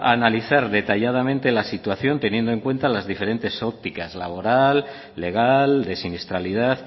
pasó a analizar detalladamente la situación teniendo en cuenta las diferentes ópticas laboral legal de siniestralidad